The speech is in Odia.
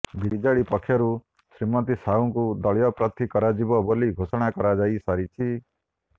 ବିଜେଡି ପକ୍ଷରୁ ଶ୍ରୀମତୀ ସାହୁଙ୍କୁ ଦଳୀୟ ପ୍ରାର୍ଥୀ କରାଯିବ ବୋଲି ଘୋଷଣା କରାଯାଇ ସାରିଛି